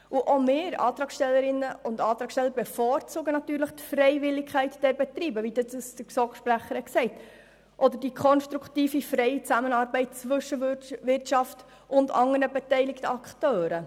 Auch wir Antragstellenden bevorzugen natürlich die Freiwilligkeit der Betriebe, wie sie der GSoKSprecher erwähnt hat, oder die konstruktive freie Zusammenarbeit zwischen Wirtschaft und anderen beteiligten Akteuren.